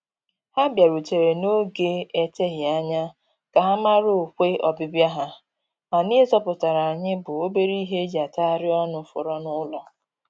Ha bịarutere n'oge eteghị anya ka ha mara ọkwe ọbịbịa ha, mana ihe zọpụtara anyị bụ obere ihe e ji atagharị ọnụ fọrọ n'ụlọ